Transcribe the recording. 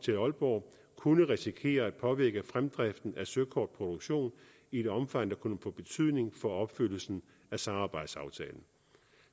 til aalborg kunne risikere at påvirke fremdriften af søkortproduktion i et omfang der kunne få betydning for opfyldelsen af samarbejdsaftalen